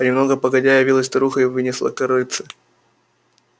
а немного погодя явилась старуха и вынесла корытце